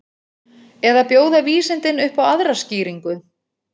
Eða bjóða vísindin upp á aðra skýringu?